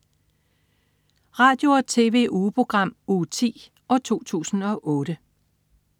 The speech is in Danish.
Radio- og TV-ugeprogram Uge 10, 2008